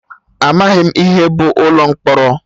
Amaghị m ihe bụ ụlọ mkpọrọ